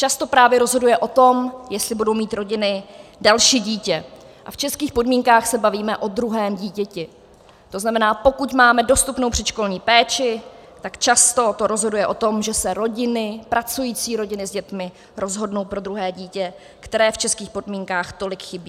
Často právě rozhoduje o tom, jestli budou mít rodiny další dítě, a v českých podmínkách se bavíme o druhém dítěti, to znamená, pokud máme dostupnou předškolní péči, tak často to rozhoduje o tom, že se rodiny, pracující rodiny s dětmi, rozhodnou pro druhé dítě, které v českých podmínkách tolik chybí.